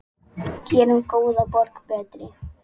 Gerum góða borg betri.